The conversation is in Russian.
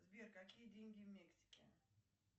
сбер какие деньги в мексике